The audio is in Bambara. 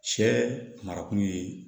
Cɛ marakun ye